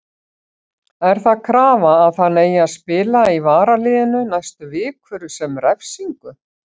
Er það krafa að hann eigi að spila í varaliðinu næstu vikur sem refsingu?